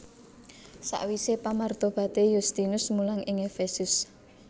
Sakwisé pamartobaté Yustinus mulang ing Efesus